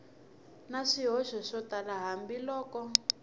na swihoxo swo tala hambiloko